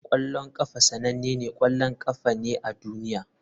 Kwallon kafa sanannen ƙwallon ƙafa ne a duniya.